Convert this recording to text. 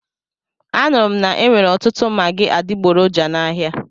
Anụrụ m na-enwere ọtụtụ magị adigboroja n'ahia.